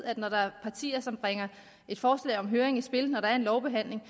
at når der er partier som bringer et forslag om en høring i spil når der er en lovbehandling